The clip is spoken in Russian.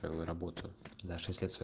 ээ в работа даже если это своя